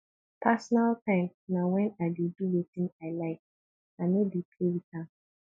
personal time na wen i dey do wetin i like i no dey play wit am